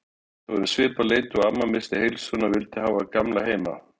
Þetta var um svipað leyti og amma missti heilsuna og vildi hafa Gamla heima.